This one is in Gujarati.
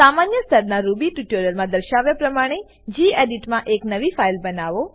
સામાન્ય સ્તરનાં રૂબી ટ્યુટોરીયલમાં દર્શાવ્યા પ્રમાણે ગેડિટ માં એક નવી ફાઈલ બનાવો